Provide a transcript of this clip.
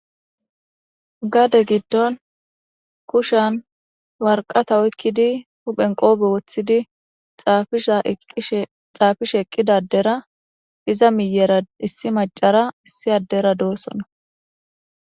gade giddon kushan warqata oykkidi huphen qoobe woththidi xaafishe eqqida adera iza miyera issi macara issi addera doossonna